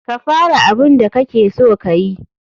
Ka fara abun da kakeso kayi.